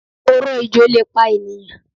Oró ejò lè pa ènìyàn